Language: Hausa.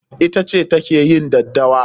Ita ce ta ke yin daddawa.